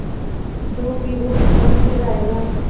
जो भी हो कल फिर आएगा